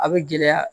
A bɛ gɛlɛya